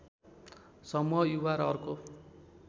समूह युवा र अर्को